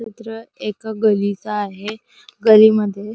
चित्र एका गलीच आहे गलीमद्धे --